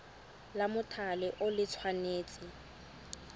la mothale o le tshwanetse